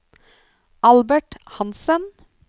Albert Hansen